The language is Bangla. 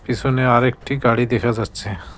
পিছনে আরেকটি গাড়ি দেখা যাচ্ছে।